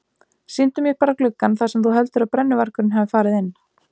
Sýndu mér bara gluggann þar sem þú heldur að brennuvargurinn hafi farið inn.